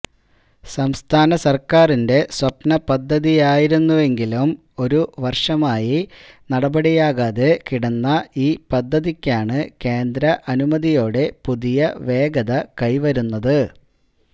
സംസ്ഥാന സർക്കാരിന്റെ സ്വപ്ന പദ്ധതിയായിരുന്നെങ്കിലും ഒരു വർഷമായി നടപടിയാകാതെ കിടന്ന ഈ പദ്ധതിക്കാണ് കേന്ദ്ര അനുമതിയോടെ പുതിയ വേഗത കൈവിരുന്നത്